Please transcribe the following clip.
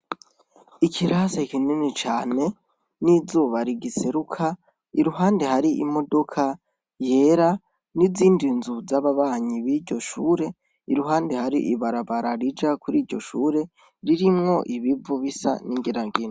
Ikirase kinini cane n'izuba rigiseruka iruhande hari imodoka yera n'izindi nzu z'ababanyi b'iryo shure iruhande hari ibarabara rija kuri iryo shure ririmwo ibivu bisa n'ingirangina.